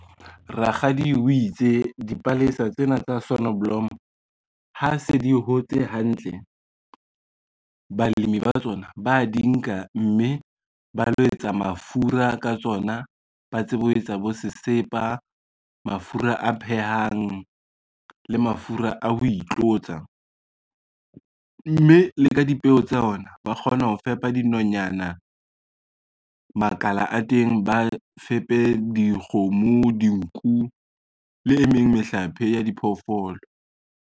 Rakgadi o itse dipalesa tsena tsa sonoblomo ha se di hotse hantle, balemi ba tsona ba di nka, mme ba lo etsa mafura ka tsona, ba tsebe ho etsa bo sesepa, mafura a phehang le mafura a ho itlotsa, mme le ka dipeo tsa ona ba kgona ho fepa dinonyana, makala a teng ba fepe dikgomo, dinku le e meng mehlape ya diphoofolo.